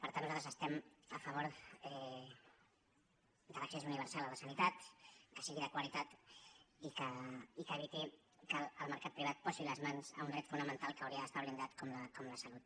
per tant nosaltres estem a favor de l’accés universal a la sanitat que sigui de qualitat i que eviti que el mercat privat posi les mans a un dret fonamental que hauria d’estar blindat com la salut